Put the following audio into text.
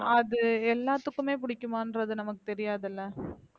அது எல்லாத்துக்குமே பிடிக்குமான்றது நமக்கு தெரியாது இல்ல